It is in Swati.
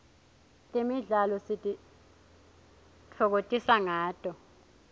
temidlalo sitifokotisa nqato